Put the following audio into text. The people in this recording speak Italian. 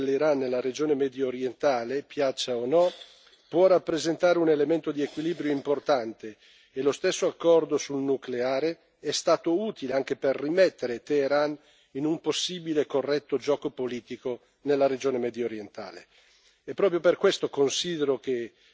È indubbio che per l'Unione europea la presenza dell'Iran nella regione mediorientale, piaccia o no, può rappresentare un elemento di equilibrio importante e lo stesso accordo sul nucleare è stato utile anche per rimettere Teheran in un possibile corretto gioco politico nella regione mediorientale.